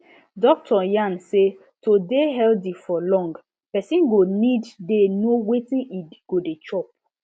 doctor yarn say to dey healthy for long person go need dey know wetin e go dey chop